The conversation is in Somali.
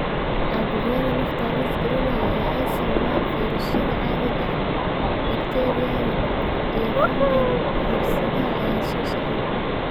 Caabuqyada nafta halis gelinaya ee ay sababaan fayruusyada caadiga ah, bakteeriyada, iyo fungal cudur-sidaha ayaa soo socda.